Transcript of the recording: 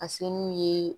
A se n'u ye